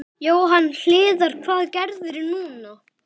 Jóhann Hlíðar: Hvað gerirðu núna?